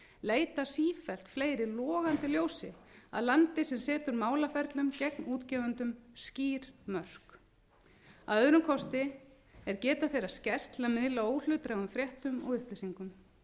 leita sífellt fleiri logandi ljósi að landi sem setur málaferlum gegn útgefendum skýr mörk að öðrum kosti er geta þeirra skert til að miðla óhlutdrægum fréttum og upplýsingum